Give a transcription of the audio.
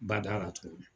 Bada la tuguni